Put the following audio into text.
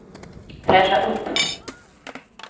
fräscha upp